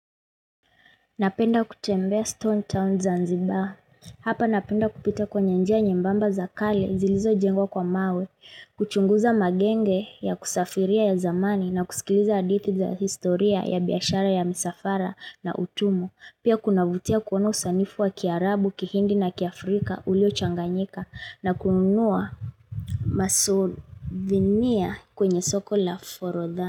Napenda kutembea Stone Town Zanzibar. Hapa napenda kupita kwenye njia nyembamba za kale zilizojengwa kwa mawe. Kuchunguza magenge ya kusafiria ya zamani na kusikiliza hadithi za historia ya biyashara ya misafara na utumwa. Pia kunavutia kuona usanifu wa kiarabu, kihindi na kiafrika, uliochanganyika na kununua masuvinia kwenye soko la forodha.